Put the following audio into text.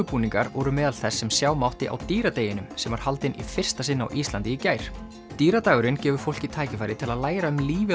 grímubúningar voru meðal þess sem sjá mátti á sem var haldinn í fyrsta sinn á Íslandi í gær gefur fólki tækifæri til að læra um lífið